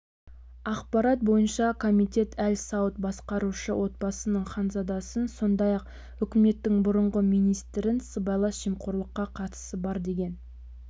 ақпарат бойынша комитет әль-сауд басқарушы отбасының ханзадасын сондай-ақ үкіметтің бұрынғы министрін сыбайлас жемқорлыққа қатысы бар деген